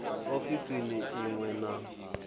ofisini i ṅ we na